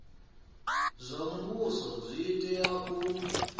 zwa muvhuso zwi tea u